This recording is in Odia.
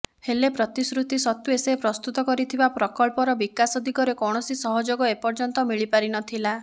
ହେଲେ ପ୍ରତିଶ୍ରୁତି ସତ୍ୱେ ସେ ପ୍ରସ୍ତୁତ କରିଥିବା ପ୍ରକଳ୍ପର ବିକାଶ ଦିଗରେ କୌଣସି ସହଯୋଗ ଏପର୍ଯ୍ୟନ୍ତ ମିଳିପାରିନଥିଲା